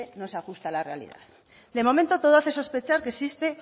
no se ajusta a la realidad de momento todo hace sospechar que existe